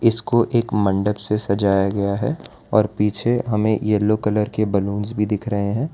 इसको एक मंडप से सजाया गया है और पीछे हमें यल्लो कलर के बलूंस भी दिख रहे हैं।